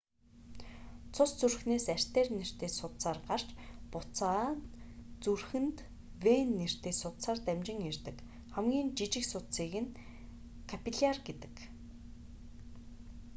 цус зүрхнээс артер нэртэй судсаар гарч буцаад зүрхэнд вен нэртэй судсаар дамжин ирдэг хамгийн жижиг судсыг нь капилляр гэдэг